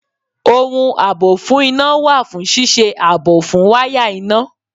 Ohun àbò fún iná wà fún ṣíṣe ààbò fún wáyà iná